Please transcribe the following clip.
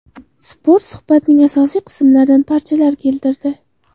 Spot suhbatning asosiy qismlaridan parchalar keltirdi .